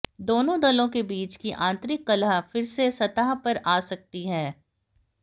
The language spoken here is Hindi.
दोनों दलों के बीच की आंतरिक कलह फिर से सतह पर आ सकती है